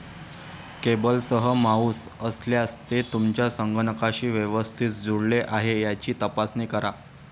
केबलसह mouse असल्यास, ते तुमच्या संगणकाशी व्यवस्थित जुळले आहे याची तपासणी करा.